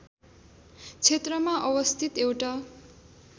क्षेत्रमा अवस्थित एउटा